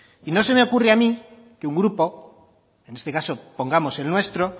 y no se me ocurre a mí que un grupo en este caso pongamos el nuestro